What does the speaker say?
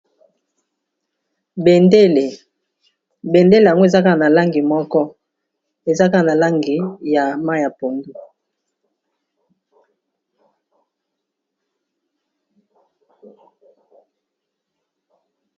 Bendele, bendele yango eza kaka na langi moko ezaka na langi ya mayi ya pondu.